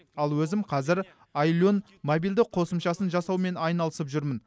ал өзім қазір ай лерн мобильді қосымшасын жасаумен айналысып жүрмін